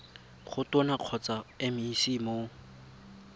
go tona kgotsa mec mo